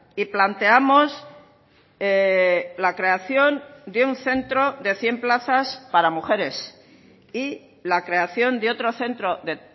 y planteamos la creación de un centro de cien plazas para mujeres y la creación de otro centro de